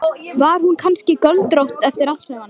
Var hún kannski göldrótt eftir allt saman?